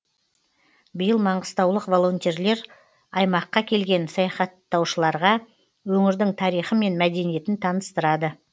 биыл маңғыстаулық волонтерлар аймаққа келген саяхаттаушыларға өңірдің тарихы мен мәдениетін таныстырады